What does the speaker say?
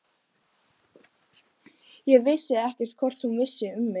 Ég vissi ekkert hvort hún vissi um mig.